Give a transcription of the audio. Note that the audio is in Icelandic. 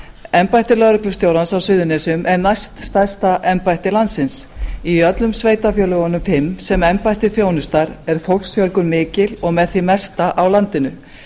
embætti lögreglustjórans á suðurnesjum er næststærsta embætti landsins í öllum sveitarfélögunum fimm sem embættið þjónustar er fólksfjölgun mikil og með því mesta á landinu